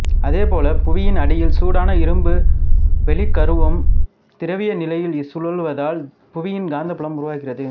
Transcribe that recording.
அதே போல புவியின் அடியில் சூடான இரும்பு வெளிக் கருவம் திரவ நிலையில் சுழல்வதால் புவியின் காந்தப்புலம் உருவாகிறது